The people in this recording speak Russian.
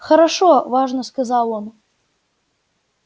хорошо важно сказал он